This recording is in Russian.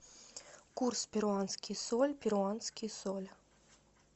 курс перуанский соль перуанский соль